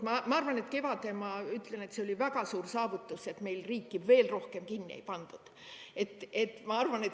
Ma arvan, et kevadel see oli väga suur saavutus, et meil riiki veel rohkem kinni ei pandud.